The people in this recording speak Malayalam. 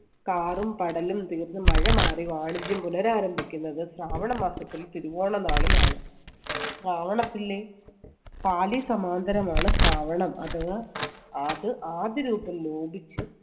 കാടും പടലും തീർന്ന് മഴ മാറി വാണിജ്യം പുനരാരംഭിക്കുന്നത് ശ്രാവണ മാസത്തിൽ തിരുവോണനാളിലാണ്. ശ്രാവണത്തിലെ പാലിസമാന്തരമാണ് ശ്രാവണം അഥവാ അത് ആദ്യരൂപം ലോപിച്ച്